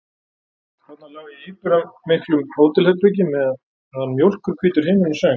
Þarna lá ég í íburðarmiklu hótelherbergi meðan mjólkurhvítur himinninn söng.